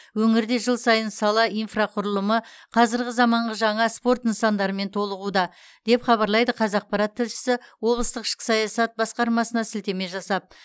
өңірде жыл сайын сала инфрақұрылымы қазіргі заманғы жаңа спорт нысандарымен толығуда деп хабарлайды қазақпарат тілшісі облыстық ішкі саясат басқармасына сілтеме жасап